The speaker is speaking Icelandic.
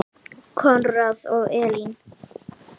Konráð og Elín.